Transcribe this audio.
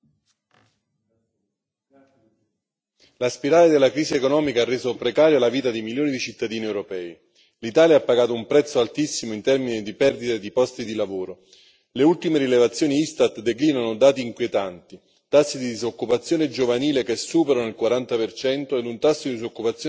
Signor Presidente, onorevoli colleghi, la spirale della crisi economica ha reso precaria la vita di milioni di cittadini europei. L'Italia ha pagato un prezzo altissimo in termini di perdita di posti di lavoro. Le ultime rilevazioni ISTAT declinano dati inquietanti tassi di disoccupazione giovanile che superano il 40 in un tasso di disoccupazione generale al 12